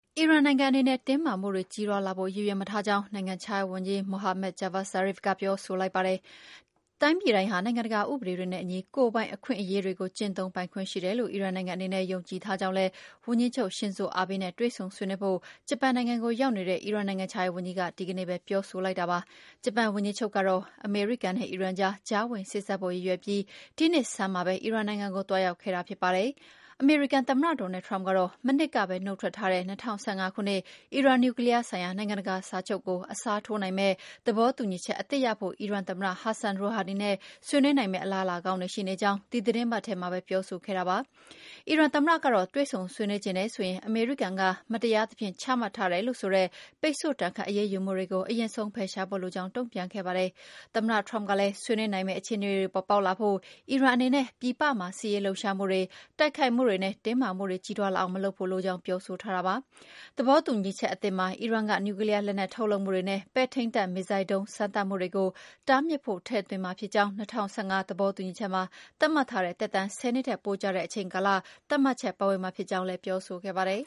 အီရန်နိုင်ငံ အနေနဲ့ တင်းမာမှုတွေ ကြီးထွားလာဖို့ ရည်ရွယ်မထားကြောင်း နိုင်ငံခြားရေးဝန်ကြီး Mohammad Javad Zarif က ပြောဆိုလိုက်ပါတယ်။ တိုင်းပြည်တိုင်းဟာ နိုင်ငံတကာ ဥပဒေတွေနဲ့အညီ ကိုယ်ပိုင်အခွင့်အရေးတွေကို ကျင့်သုံးပိုင်ခွင့် ရှိတယ်လို့ အီရန်နိုင်ငံအနေနဲ့ ယုံကြည်ထားကြောင်းလည်း ဝန်ကြီးချုပ် Shinzo Abe နဲ့ တွေ့ဆုံဆွေးနွေးဖို့ ဂျပန်နိုင်ငံကို ရောက်နေတဲ့ အီရန်နိုင်ငံခြားရေးဝန်ကြီးက ဒီနေ့ပဲ ပြောလိုက်တာပါ။ ဂျပန်ဝန်ကြီးချုပ်ကတော့ အမေရိကန်နဲ့ အီရန်ကြား ကြားဝင်စေ့စပ်ဖို့ ရည်ရွယ်ပြီး ဒီနှစ်ဆန်းမှာပဲ အီရန်နိုင်ငံကို သွားရောက်ခဲ့တာ ဖြစ်ပါတယ်။ အမေရိကန်သမ္မတ Donald Trump ကတော့ မနှစ်ကပဲ နှုတ်ထွက်ထားတဲ့ ၂၀၁၅ ခုနှစ် အီရန်နျူကလီးယားဆိုင်ရာ နိုင်ငံတကာစာချုပ်ကို အစားထိုးနိုင်မယ့် သဘောတူညီချက်အသစ်ရဖို့ အီရန်သမ္မတ Hassan Rouhani နဲ့ ဆွေးနွေးနိုင်မယ့် အလားအလာကောင်းတွေ ရှိနေကြောင်း ဒီသီတင်းပတ်ထဲမှာပဲ ပြောဆိုခဲ့တာပါ။ အီရန်သမ္မတကတော့ တွေ့ဆုံဆွေးနွေးချင်တယ်ဆိုရင် အမေရိကန်က မတရားသဖြင့် ချမှတ်ထားတယ်လို့ဆိုတဲ့ ပိတ်ဆို့ဒဏ်ခတ် အရေးယူမှုတွေကို အရင်ဆုံး ဖယ်ရှားဖို့လိုကြောင်း တုန့်ပြန်ခဲ့ပါတယ်။ သမ္မတ Trump ကလည်း ဆွေးနွေးနိုင်မယ့် အခြေအနေတွေ ပေါ်ပေါက်လာဖို့ အီရန်အနေနဲ့ ပြည်ပမှာ စစ်ရေးလှုပ်ရှားမှုတွေ၊ တိုက်ခိုက်မှုတွေနဲ့ တင်းမာမှုတွေ ကြီးထွားလာအောင် မလုပ်ဖို့လိုကြောင်း ပြောဆိုထားတာပါ။ သဘောတူညီချက်အသစ်မှာ အီရန်က နျူကလီးယားလက်နက် ထုတ်လုပ်မှုတွေနဲ့ ပဲ့ထိန်းတပ် မစ်ဇိုင်းဒုံး စမ်းသပ်မှုတွေကို တားမြစ်ဖို့ ထည့်သွင်းမှာဖြစ်ကြောင်းနဲ့ ၂၀၁၅ သဘောတူညီချက်မှာ သတ်မှတ်ထားတဲ့ သက်တမ်း ၁၀ နှစ်ထက် ပိုကြာတဲ့ အချိန်ကာလ သတ်မှတ်ချက် ပါဝင်မှာဖြစ်ကြောင်းလည်း ပြောဆိုခဲ့ပါတယ်။